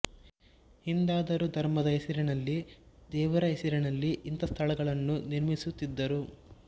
ಹಿಂದಾದರೋ ಧರ್ಮದ ಹೆಸರಿನಲ್ಲಿ ದೇವರ ಹೆಸರಿನಲ್ಲಿ ಇಂಥ ಸ್ಥಳಗಳನ್ನು ನಿರ್ಮಿಸುತ್ತಿದ್ದರು